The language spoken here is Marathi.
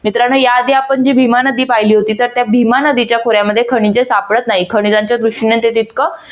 मित्रांनो या आदी आपण जी भीमा नदी पाहिली होती तर त्या भीमा नदीच्या खोऱ्यामध्ये खनिजे सापडत नाही खणिज्यांच्या दृष्टीने ते तितकं